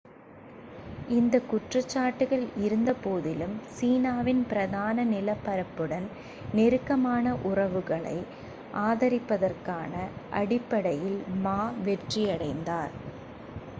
இந்தக் குற்றச்சாட்டுகள் இருந்தபோதிலும் சீனாவின் பிரதான நிலப்பரப்புடன் நெருக்கமான உறவுகளை ஆதரிப்பதற்கான அடிப்படையில் மா வெற்றியடைந்தார்